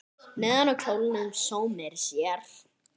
Neðan á kjólnum sómir sér.